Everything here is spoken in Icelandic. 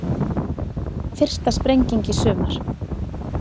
Fyrsta sprenging í sumar